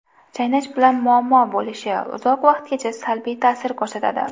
Chaynash bilan muammo bo‘lishi, uzoq vaqtgacha salbiy ta’sir ko‘rsatadi.